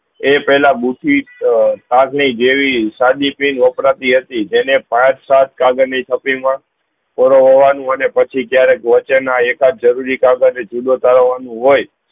એ પેહલા જેવી સાદી ક્રેન વપરાતી હતી જેને પાંચ સાથ કાગળ ની ફકીર મા અને પછી જયારે એક કાજ જરૂરી કાગજ જુદું કરવાનું હોય